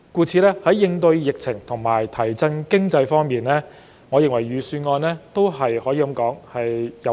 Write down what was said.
在應對疫情和提振經濟方面，我認為預算案稱得上有擔當。